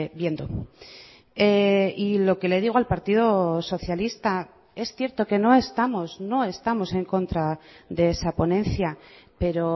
viendo y lo que le digo al partido socialista es cierto que no estamos no estamos en contra de esa ponencia pero